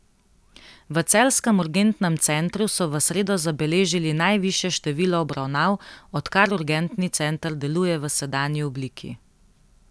V celjskem urgentnem centru so v sredo zabeležili najvišje število obravnav, odkar urgentni center deluje v sedanji obliki.